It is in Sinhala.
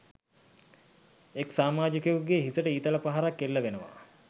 එක් සාමාඡිකයෙකුගෙ හිසට ඊතල පහරක් එල්ලවෙනව.